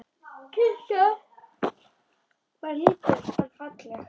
Kirkjan var lítil en falleg.